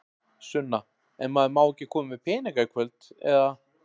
Sunna: En maður má ekki koma með peninga í kvöld, eða?